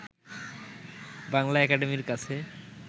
বাংলা একাডেমীর কাছে